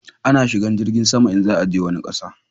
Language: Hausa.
A na shigan jirgin sama in za a je wani ƙasa